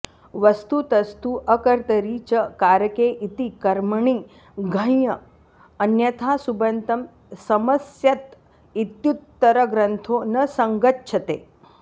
वस्तुतस्तु अकर्तरि च कारके इति कर्मणि घञ् अन्यथा सुबन्तं समस्यत इत्युत्तरग्रन्थो न संगच्छते